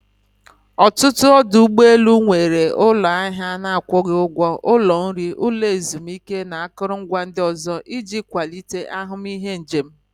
Ọtụtụ ọdụ ụgbọ elu nwere ụlọ ahịa na-akwụghị ụgwọ, ụlọ nri, ụlọ ezumike na akụrụngwa ndị ọzọ iji kwalite ahụmịhe njem.